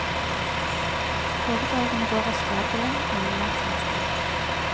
Foredragene går av stabelen annenhver tirsdag.